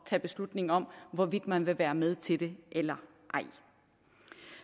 tage beslutning om hvorvidt man vil være med til det eller ej